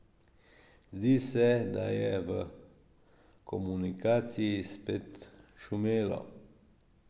Zdi se, da je v komunikaciji spet šumelo.